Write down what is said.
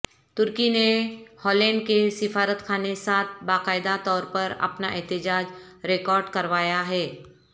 ترکی نے ہالینڈ کے سفارتخانے ساتھ باقاعدہ طور پر اپنا احتجاج ریکارڈ کروایا ہے